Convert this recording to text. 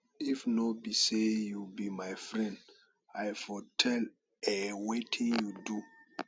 if no be say you be my friend i for tell a wetin you do